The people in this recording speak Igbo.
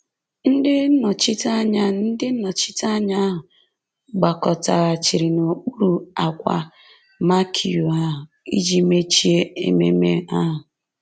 Ndị nnọchiteanya Ndị nnọchiteanya ahụ gbakọtaghachiri n’okpuru ákwà marquee ahụ iji mechie ememe ahụ.